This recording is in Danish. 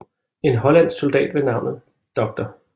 En hollandsk soldat ved navnet Dr